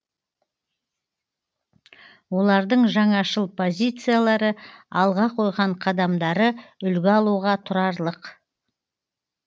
олардың жаңашыл позициялары алға қойған қадамдары үлгі алуға тұрарлық